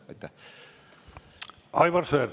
Aivar Sõerd, palun!